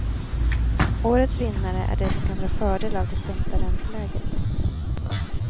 Årets vinnare är de som kan dra fördel av det sänkta ränteläget.